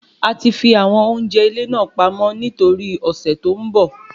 A ti fi àwọn oúnjẹ ilé náà pamọ́ ní toríi ọ̀sẹ̀ tó ń bọ